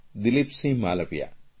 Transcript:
Dilipsinh Malviya